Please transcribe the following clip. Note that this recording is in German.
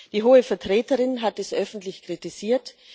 Die Hohe Vertreterin hat das öffentlich kritisiert.